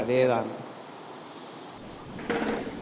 அதேதான்